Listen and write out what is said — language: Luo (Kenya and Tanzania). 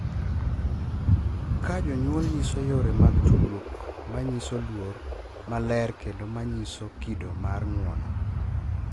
Ka jonyuol nyiso yore mag tudruok ma nyiso luor, maler kendo ma nyiso kido mar ng’uono,